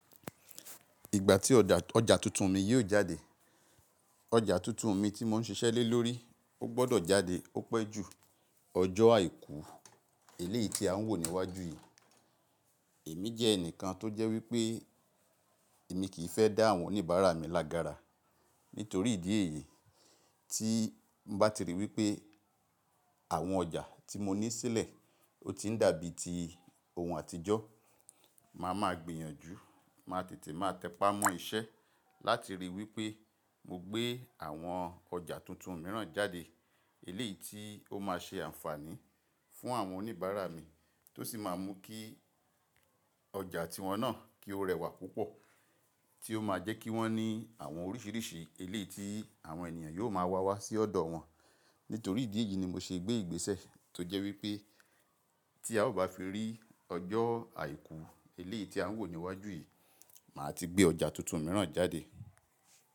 Ìgbà tí ọjà tuntun mi yóò jáde. Ọjà tuntun mi tí mò ń ṣiṣẹ́ lé lórí ó gbọ́dọ̀ jáde ó pẹ́ ju Ọjọ́ Àìkú eléyìí tí a ń wò níwájú yìí. Èmi jẹ́ ẹnìkan tó jẹ́ wípé èmi kì í fẹ́ dá àwọn oníbàárà mi lágára. Nítorí ìdí èyí tí n bá ti ríi wípé àwọn ọjà tí mo ní sílẹ̀ ó ti ń dàbí ti ohun àtijọ́. Má a máa gbìyànjú, máa tètè máa tẹpá mọ́ iṣẹ́ láti ríi wípé mo gbé àwọn ọjà tuntun mìíràn jáde eléyìí tí ó máa ṣe àǹfààní fún àwọn oníbàárà mi tó sì máa mú kí ọjà tiwọn náà kí ó rẹwà púpọ̀ tí ó máa jẹ́ kí wọ́n ní àwọn oríṣìíríṣìí eléyìí tí àwọn ènìyàn yóò máa wá wá sí ọ̀dọ̀ wọn. Nítorí ìdí èyí ni mo ṣe gbé ìgbésẹ̀ tó jẹ́ wípé tí a ò bá fi rí Ọjọ́ Àìkú eléyìí tí a ń wò níwájú yìí, màá ti gbé ọjà tuntun mìíràn jáde.